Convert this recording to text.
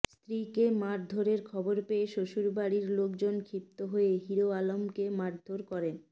স্ত্রীকে মারধরের খবর পেয়ে শ্বশুরবাড়ির লোকজন ক্ষিপ্ত হয়ে হিরো আলমকেও মারধর করেন